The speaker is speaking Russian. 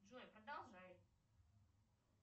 джой продолжай